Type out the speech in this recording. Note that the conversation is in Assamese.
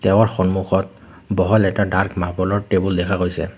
তেওঁৰ সন্মুখত বহল এটা ডাৰ্ক মাৰ্বলৰ টেবুল দেখা হৈছে।